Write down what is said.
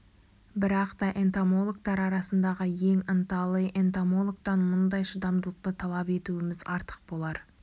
бірақ та энтомологтар арасындағы ең ынталы энтомологтан мұндай шыдамдылықты талап етуіміз артық болар